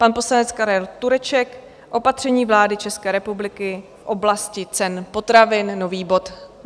Pan poslanec Karel Tureček - Opatření vlády České republiky v oblasti cen potravin, nový bod.